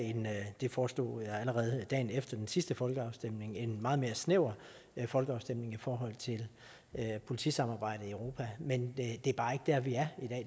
det foreslog jeg allerede dagen efter den sidste folkeafstemning en meget mere snæver folkeafstemning i forhold til politisamarbejdet i europa men det er bare ikke der vi er